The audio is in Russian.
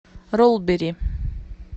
ролбери